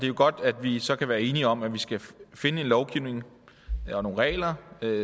jo godt at vi så kan være enige om at vi skal finde en lovgivning eller nogle regler